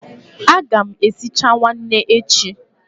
A ga m esicha nwanne echi.